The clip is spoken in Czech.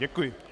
Děkuji.